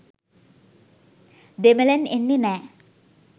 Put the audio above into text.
දෙමළෙන් එන්නෙ නෑ